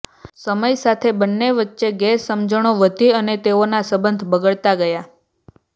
સમય સાથે બંને વચ્ચે ગેરસમજણો વધી અને તેઓના સબંધ બગડતા ગયા